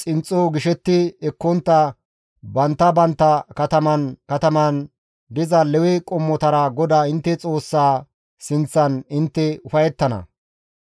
xinxxo gishetti ekkontta bantta bantta kataman katamaan diza Lewe qommotara GODAA intte Xoossaa sinththan intte ufayettana.